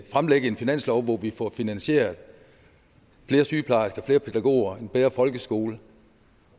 fremlægge en finanslov hvor vi får finansieret flere sygeplejersker flere pædagoger en bedre folkeskole